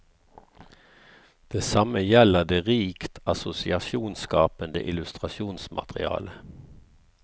Det samme gjelder det rikt assosiasjonsskapende illustrasjonsmaterialet.